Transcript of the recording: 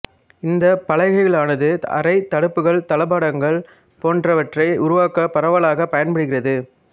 இந்தப் பலகைகளானது அறைத் தடுப்புகள் தளபாடங்கள் போன்றவற்றை உருவாக்க பரவலாக பயன்படுகிறது